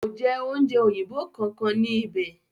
Kò jẹ oúnjẹ òyìnbó kankan ní íbẹ̀.